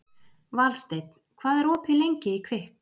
Valsteinn, hvað er opið lengi í Kvikk?